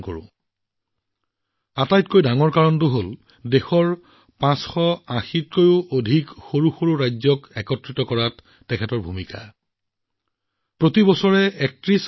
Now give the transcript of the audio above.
ইয়াৰ আটাইতকৈ ডাঙৰ কাৰণ হল দেশৰ ৫৮০খনতকৈও অধিক ৰাজকীয় ৰাজ্যক সংযোগ কৰাৰ ক্ষেত্ৰত তেওঁৰ ভূমিকা অতুলনীয়